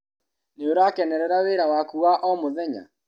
Nĩũrakenerera wĩra waku wa o mũthenya?